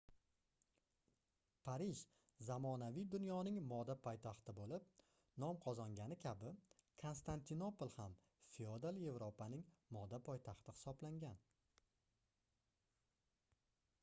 parij zamonaviy dunyoning moda poytaxti boʻlib no qozongani kabi konstantinopol ham feodal yevropaning moda poytaxti hisoblangan